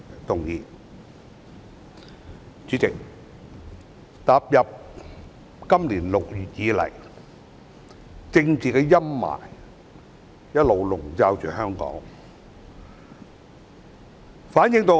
代理主席，踏入今年6月以來，政治陰霾一直籠罩香港。